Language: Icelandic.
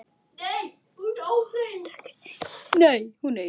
Og veit ekki enn!